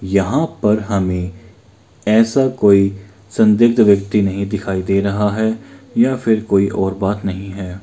यहाँ पर हमें ऐसा कोई संदिग्ध व्यक्ति नहीं दिखाई दे रहा है या फिर कोई और बात नहीं है।